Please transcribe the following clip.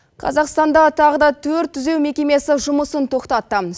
қазақстанда тағы да төрт түзеу мекемесі жұмысын тоқтатты